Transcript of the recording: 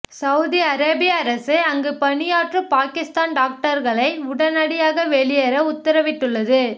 Saudi அரேபிய அரசு அங்கு பணியாற்றும் பாகிஸ்தான் டாக்டர்களை உடனடியாக வெளியேற உத்தரவிட்டுள்ளது